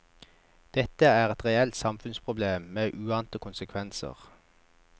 Dette er et reelt samfunnsproblem med uante konsekvenser.